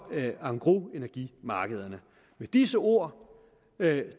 engrosenergimarkederne med disse ord